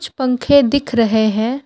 कुछ पंखे दिख रहे हैं।